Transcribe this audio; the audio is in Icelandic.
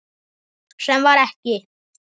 Sem var ekki.